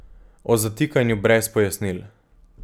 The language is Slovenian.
O zatikanju brez pojasnil.